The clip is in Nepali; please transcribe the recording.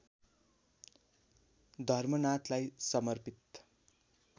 धर्मनाथलाई समर्पित